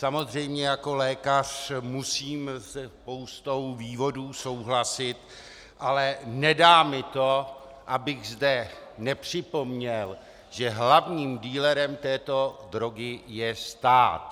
Samozřejmě jako lékař musím se spoustou vývodů souhlasit, ale nedá mi to, abych zde nepřipomněl, že hlavním dealerem této drogy je stát.